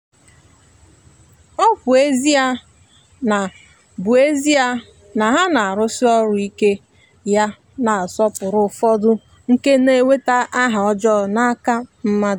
ọ bụ ezie na bụ ezie na ha na-arụsi ọrụ ike ya na nsọpụrụ ụfọdụ ka na-enweta aha ọjọọ n’aka mmadụ.